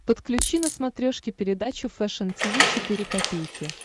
подключи на смотрешке передачу фэшн ти ви четыре ка